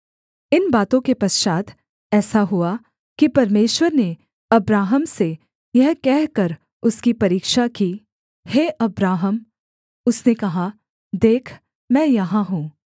इन बातों के पश्चात् ऐसा हुआ कि परमेश्वर ने अब्राहम से यह कहकर उसकी परीक्षा की हे अब्राहम उसने कहा देख मैं यहाँ हूँ